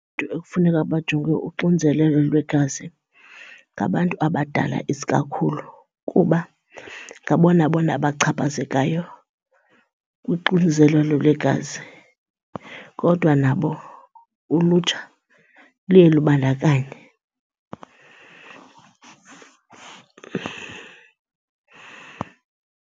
ekufuneka bajongwe uxinzelelo lwegazi ngabantu abadala isikakhulu kuba ngabona bona bachaphazekayo kuxinzelelo lwegazi, kodwa nabo ulutsha luye lubandakanye.